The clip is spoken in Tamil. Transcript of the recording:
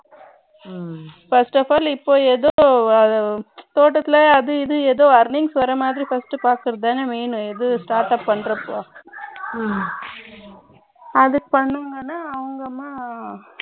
first of all இப்போ ஏதோ தோட்டத்துல அது இது ஏதோ earning வர மாதிரி first பார்ப்பது தானே main இது startup பண்றப்போ அது பண்ணனும்னு அவங்க வந்து